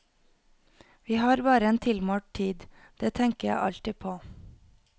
Vi har bare en tilmålt tid, det tenker jeg alltid på.